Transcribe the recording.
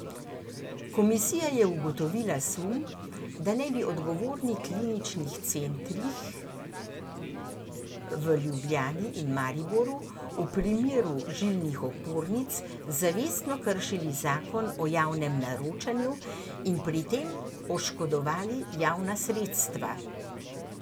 Komisija je ugotovila sum, da naj bi odgovorni kliničnih centrih v Ljubljani in Mariboru v primeru žilnih opornic zavestno kršili zakon o javnem naročanju in pri tem oškodovali javna sredstva.